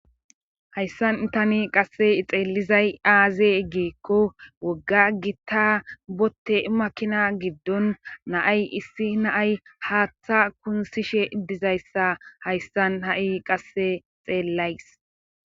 hayssan tani qasse xeelizay aaze gikko wogga gitta botte makina giddon naay issi naay haaththa kunsishe iddizayssa hayssan ha7i qasse xeellays